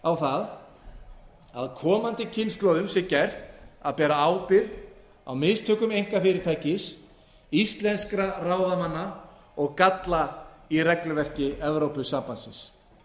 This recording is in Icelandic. á það að komandi kynslóðum sé gert að bera ábyrgð á mistökum einkafyrirtækis íslenskra ráðamanna og galla í regluverki evrópusambandsins